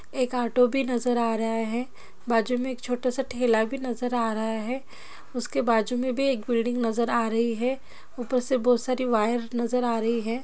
एक ऑटो भी नज़र आ रहा है बाजू मे एक छोटा सा ठेला भी नज़र आ रहा है उसके बाजू मे भी एक बिल्डिंग नज़र आ रही है ऊपर से बहुत सारी वायर नज़र आ रही है।